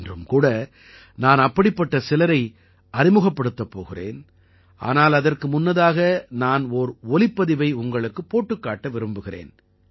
இன்றும் கூட நான் அப்படிப்பட்ட சிலரை அறிமுகப்படுத்தப் போகிறேன் ஆனால் அதற்கு முன்னதாக நான் ஓர் ஒலிப்பதிவை உங்களுக்குப் போட்டுக்காட்ட விரும்புகிறேன்